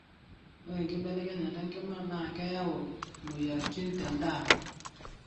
ore enkibelekenyata enkima naa keyau imoyiaritin tendaa